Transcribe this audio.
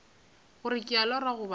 gore ke a lora goba